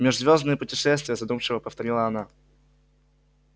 межзвёздные путешествия задумчиво повторила она